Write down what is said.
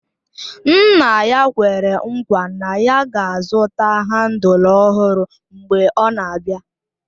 Nna ya kwere nkwa na ya ga-azụta handụl ọhụrụ mgbe ọ na-abịa